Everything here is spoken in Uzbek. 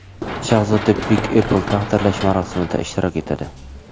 Shahzoda Big apple taqdirlash marosimida ishtirok etadi.